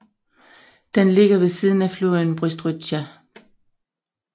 Den ligger ved siden af floden Bystrytsja